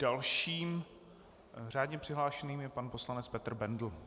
Dalším řádně přihlášeným je pan poslanec Petr Bendl.